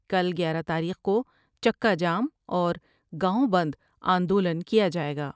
کل گیارہ تاریخ کو چکا جام اور گاؤں بند آندولن کیا جاۓ گا ۔